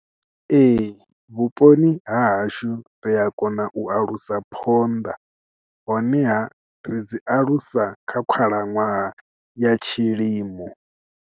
Ee vhuponi ha hashu ri a kona u alusa phonḓa honeha ri dzi alusa kha khalaṅwaha ya tshilimo.